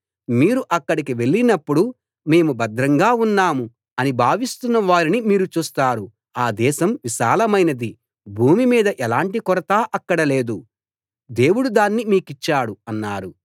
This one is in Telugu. మీరు అక్కడికి వెళ్ళినప్పుడు మేము భద్రంగా ఉన్నాం అని భావిస్తున్న వారిని మీరు చూస్తారు ఆ దేశం విశాలమైనది భూమి మీద ఎలాంటి కొరతా అక్కడ లేదు దేవుడు దాన్ని మీకిచ్చాడు అన్నారు